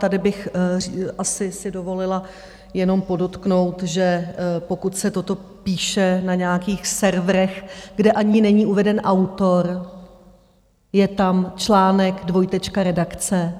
Tady bych asi si dovolila jenom podotknout, že pokud se toto píše na nějakých serverech, kde ani není uveden autor, je tam článek - dvojtečka: redakce,